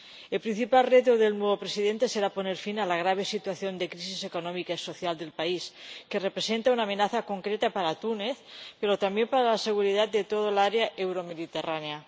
El principal reto del nuevo Presidente será poner fin a la grave situación de crisis económica y social del país, que representa una amenaza concreta para Túnez, pero también para la seguridad de toda el área euromediterránea.